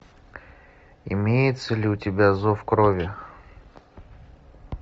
имеется ли у тебя зов крови